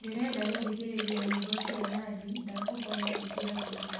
ndĩrenda gũthĩkĩrĩrĩa nyĩmbo cĩa nandy ndakũhoya ĩkĩra ruũ